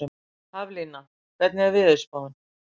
Haflína, hvernig er veðurspáin?